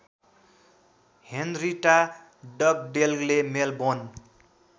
Henrietta डगडेलले Melbourne